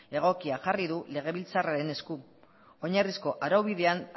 egokia jarri du legebiltzarraren esku oinarrizko araubidean